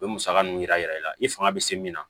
O bɛ musaka ninnu jira i la i fanga bɛ se min na